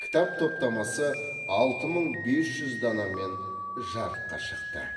кітап топтамасы алты мың бес жүз данамен жарыққа шықты